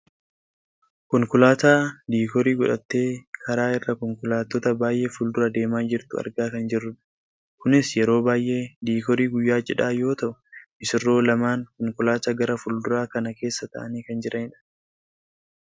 konkolaataa diikoorii godhattee karaa irra konkolaattot baayyee fuuldura deemaa jirtu argaa kan jirrudha. kunis yeroo baayyee diikoorii guyyaa cidhaa yoo ta'u missirroo lameen konkolaataa gara fuulduraa kana keessa taa'anii kan jiranidha.